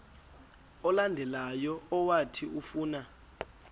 olandelayo owathi ufuna